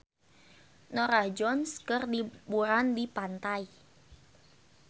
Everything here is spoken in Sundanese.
Norah Jones keur liburan di pantai